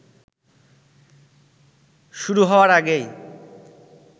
শুরু হওয়ার আগেই